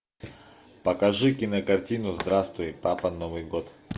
покажи кинокартину здравствуй папа новый год